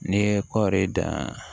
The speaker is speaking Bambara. N'i ye kɔɔri dan